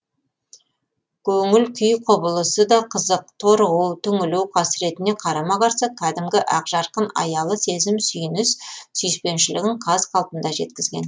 көңіл күй құбылысы да қызық торығу түңілу қасіретіне қарама қарсы кәдімгі ақжарқын аялы сезім сүйініс сүйіспеншілігін қаз қалпында жеткізген